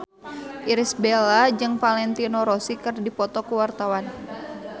Irish Bella jeung Valentino Rossi keur dipoto ku wartawan